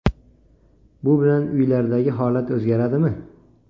Bu bilan uylardagi holat o‘zgaradimi?